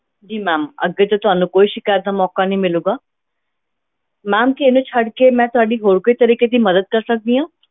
ਜੀ ma'am ਅੱਗੇ ਤੋਂ ਤੁਹਾਨੂੰ ਕੋਈ ਸਿਕਾਇਤ ਦਾ ਮੌਕਾ ਨਹੀਂ ਮਿਲੇਗਾ ma'am ਕੀ ਇਹਨੂੰ ਛੱਡ ਕੇ ਮੈਂ ਤੁਹਾਡੀ ਹੋਰ ਕੋਈ ਤਰੀਕੇ ਦੀ ਮਦਦ ਕਰ ਸਕਦੀ ਹਾਂ।